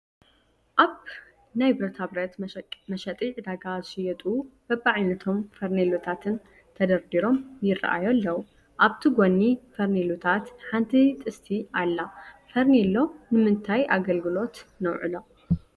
ኣብ ናይ ብረታ ብረት መሸጢ ዕዳጋ ዝሽየጡ በቢዓይነቶም ፌርኔሎታት ተደርዲሮም ይራኣዩ ኣለው፡፡ ኣብቲ ጎኒ ፌርኔሎታት ሓንቲ ጥስቲ ኣላ፡፡ ፈርኔሎ ንምንታይ ኣገልግሎት ነውዕሎ?